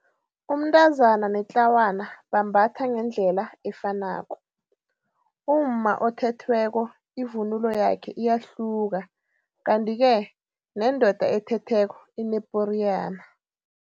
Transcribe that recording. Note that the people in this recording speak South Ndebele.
Umntazana netlawana bambatha ngendlela efanako. umma othethweko ivunulo yakhe iyahluka kanti-ke nendoda ethetheko ineporiyana.